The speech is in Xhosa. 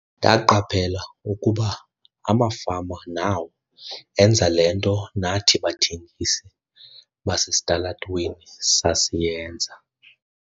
"Ndaqaphela ukuba amafama nawo enza le nto nathi bathengisi basesitalatweni sasiyenza."